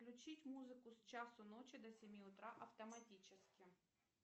включить музыку с часу ночи до семи утра автоматически